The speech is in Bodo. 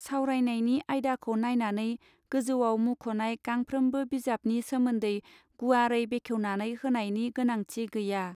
सवरायनायनि आयदाखौ नायनानै गोजौआव मुंख नाय गांफ्रामबो बिजाबनि सोमोन्दै गुवारै बेखेवनानै होनायनि गोनांथि गैया.